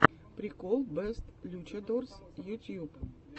прикол бэст лючадорс ютьюб